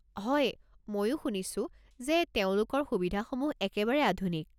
হয়, মইও শুনিছো যে তেওঁলোকৰ সুবিধাসমূহ একেবাৰে আধুনিক।